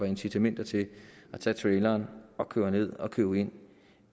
incitament til at tage traileren og køre ned og købe ind